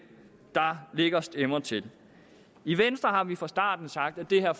der lægger stemmer til i venstre har vi fra starten sagt at det her